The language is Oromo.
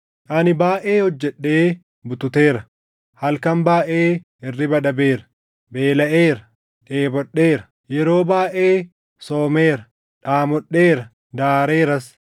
Ani baayʼee hojjedhee bututeera; halkan baayʼee hirriba dhabeera; beelaʼeera; dheebodheera; yeroo baayʼee soomeera; dhaamodheera; daareeras.